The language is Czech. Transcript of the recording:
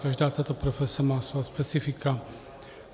Každá tato profese má svá specifika.